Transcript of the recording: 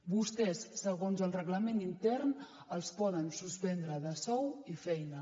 vostès segons el reglament intern els poden suspendre de sou i feina